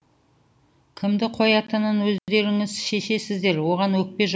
кімді қоятынын өздеріңіз шешесіздер оған өкпе жоқ